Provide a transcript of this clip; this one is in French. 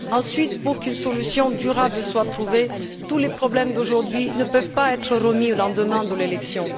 Ensuite, si l'on veut qu'une solution durable soit trouvée, tous les problèmes d'aujourd'hui ne peuvent pas être remis au lendemain de l'élection.